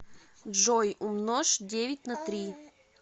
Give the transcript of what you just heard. джой умножь девять на три